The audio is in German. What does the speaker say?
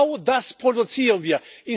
Und genau das produzieren wir.